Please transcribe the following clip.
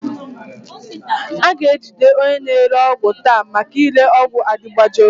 A ga-ejide onye na-ere ọgwụ taa maka ire ọgwụ adịgboroja